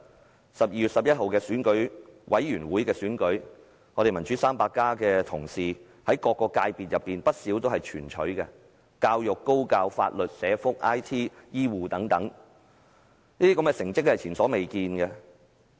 在12月11日選舉委員會的選舉中，"民主 300+" 的同事在不少界別皆全取所有席位，包括教育、高教、法律、社福、IT、醫護等，是前所未見的佳績。